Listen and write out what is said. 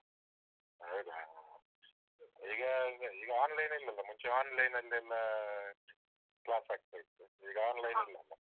ಹೌದಾ? ಹ. ಈಗ ಈಗ online ಇಲ್ಲಲ್ಲ? ಮುಂಚೆ online ಲ್ಲೆಲ್ಲ ಅಹ್ class ಆಗ್ತಾ ಇತ್ತು. ಈಗ online